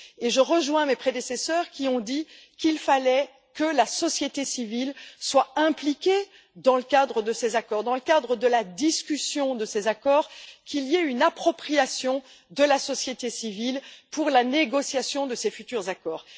je rejoins mes prédécesseurs qui ont dit qu'il fallait que la société civile soit impliquée dans le cadre de ces accords, dans le cadre de la discussion de ces accords, qu'il y ait une appropriation du processus par la société civile pour la négociation de ces futurs accords.